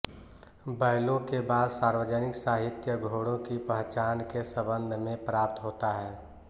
बैलों के बाद सार्वजनिक साहित्य घोड़ों की पहचान के संबंध में प्राप्त होता है